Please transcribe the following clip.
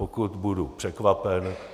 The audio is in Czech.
Pokud budu překvapen.